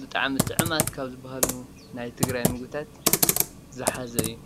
ብጣዕሚ ጡዑማት ካብ ዝባሃሉ ናይ ትግራይ ምግብታት ዝሓዘ እዩ፡፡